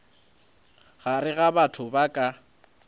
gare ga batho ba ka